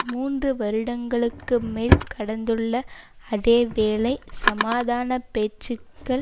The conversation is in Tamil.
மூன்று வருடங்களுக்கும் மேல் கடந்துள்ள அதே வேளை சமாதான பேச்சுக்கள்